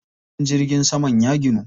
Filin jirgin saman ya ginu.